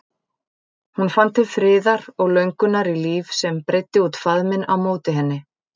Hún fann til friðar og löngunar í líf sem breiddi út faðminn á móti henni.